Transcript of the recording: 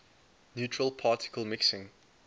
neutral particle mixing